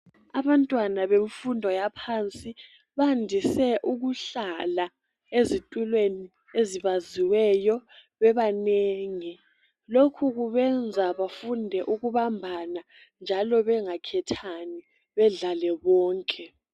Abantwana bemfundo yaphansi bandise ukuhlala ezitulweni ezibaziweyo bebanengi lokhu kubenza bafunde ukubambana njalo bengakhethani bedlale bonke.